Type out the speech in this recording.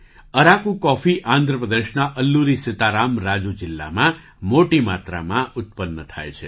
Araku coffee Andhra પ્રદેશના અલ્લુરી સીતા રામ રાજુ જિલ્લામાં મોટી માત્રામાં ઉત્પન્ન થાય છે